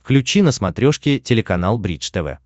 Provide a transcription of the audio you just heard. включи на смотрешке телеканал бридж тв